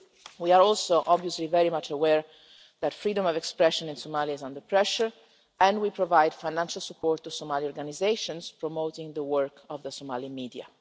We are also, obviously, very much aware that freedom of expression in Somalia is under pressure and we provide financial support to Somali organisations promoting the work of the Somalian media.